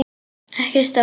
Ekki stór.